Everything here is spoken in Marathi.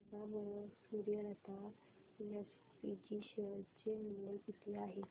सांगा बरं सूर्यलता एसपीजी शेअर चे मूल्य किती आहे